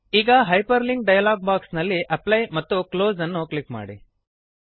ಈಗ hyperlink dialog box ನಲ್ಲಿ apply ಮತ್ತು ಕ್ಲೋಸ್ ಅನ್ನು ಕ್ಲಿಕ್ ಮಾಡಿ